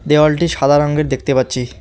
দেওয়ালটি সাদা রঙের দেখতে পাচ্ছি।